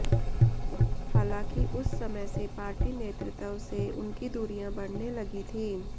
हालांकि उस समय से पार्टी नेतृत्व से उनकी दूरियां बढऩे लगी थी